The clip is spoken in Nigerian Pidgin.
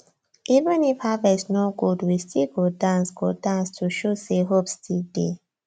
even if harvest no good we still go dance go dance to show say hope still dey